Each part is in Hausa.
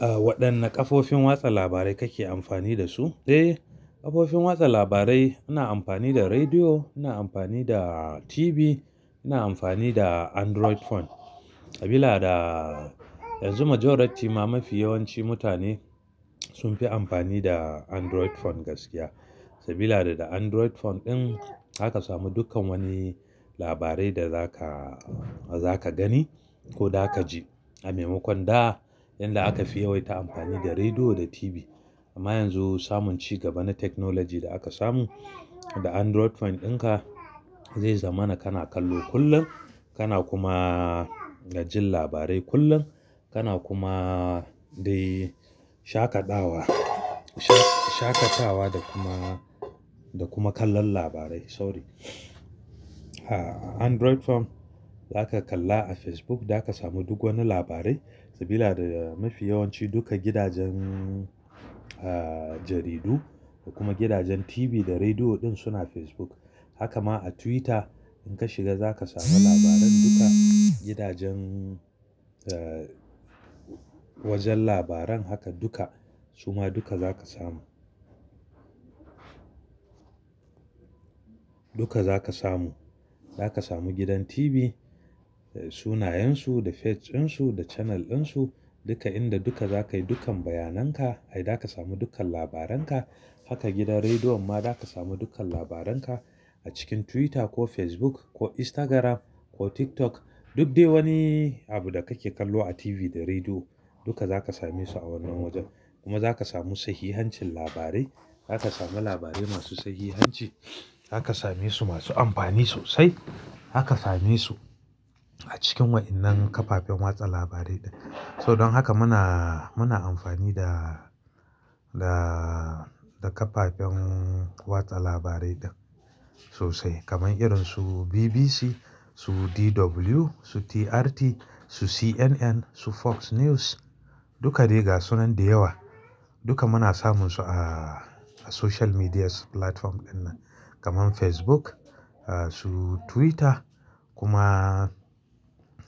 Waɗanne kafofin watsa labarai kake amfani da su? Eh kafofin watsa labarai ina amfani da rediyo, ina amfani da TV, ina amfani da Android phone. Sabila da yanzu majority ma mafi yawanci mutane sunfi amfani da Android phone gaskiya. Sabila da da Android phone ɗin zaka samu dukkan wani labarai da zaka, zaka gani ko da kaji. A maimakon da, inda aka fi yawaita amfani da rediyo da TV. Amma yanzu samun ci gaba na technology da aka samu, da Android phone ɗinka zai zamana kana kallo kullum, kana kuma ga jin labarai kullum, kana kuma dai shaƙatawa, shaƙatawa da kuma, da kuma kallon labarai sorry. Android phone, zaka kalla a Facebook zaka samu duk wani labarai Sabila da mafi yawanci duka gidajen jaridu da kuma gidajen TV da rediyo ɗin suna Facebook. Haka ma a Twitter in ka shiga zaka samu labaran duka gidajen, wajan labaran haka duka suma duka zaka samu. Duka zaka samu, zaka samu gidan TV, sunayen su, da page ɗin su, da channel ɗin su, duka inda duka zakayi dukkan bayanan ka, ai daka samu dukkan labaran ka, Haka gidan rediyon ma zaka samu dukkan labaran ka, a cikin Twitter ko Facebook ko Instagram ko TikTok, Duk dai wani abu da kake kallo a TV da rediyo, duka zaka same su a wannan wajan, kuma zaka samu sahihancin labarai, zaka samu labarai masu sahihanci, zaka same su masu amfani sosai, zaka same su a cikin wa'innan kafafen watsa labarai ɗin. So don haka muna, muna amfani da, da, da kafafen watsa labarai ɗin, sosai kaman irin su BBC, su DW, su TRT, su CNN, su Fox News, duka dai ga sunan da yawa, duka muna samun su a a social media platform ɗin nan kaman Facebook, su Twitter kuma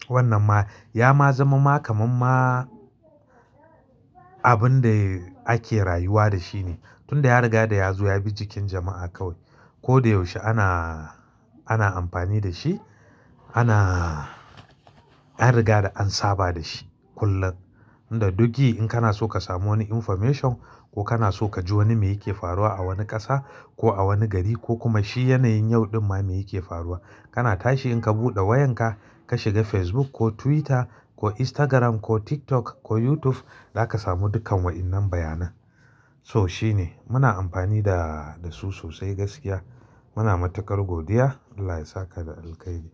wannan ma ya ma zama ma kaman ma abun da ake rayuwa da shi ne. Tun da ya riga da ya zo ya bi jikin jama'a kawai ko da yaushe ana, ana amfani da shi, ana, an riga da an saba da shi kullum. Inda duk ji in kana so ka samu wani information, ko kana so kaji wani me yake faruwa a wani ƙasa, ko a wani gari ko kuma shi yanayin yau ɗin ma me yake faruwa. Kana tashi in ka buɗe wayan ka, ka shiga Facebook ko Twitter, ko Instagram ko TikTok, ko YouTube zaka samu dukkan wa'innan bayanan. Toh shine, muna amfani da, da su sosai gaskiya. Muna matuƙar godiya. Allah ya saka da alkhairi.